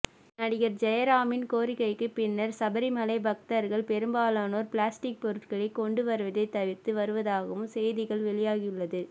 நடிகர் ஜெயராமின் கோரிக்கைக்கு பின்னர் சபரிமலை பக்தர்கள் பெரும்பாலானோர் பிளாஸ்டிக் பொருட்களை கொண்டு வருவதை தவிர்த்து வருவதாகவும் செய்திகள் வெளியாகியுள்ளது